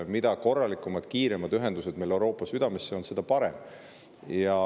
Mida korralikumad ja kiiremad ühendused meil Euroopa südamega on, seda parem.